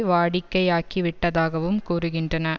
வாடிக்கையாக்கிவிட்டதாகவும் கூறுகின்றன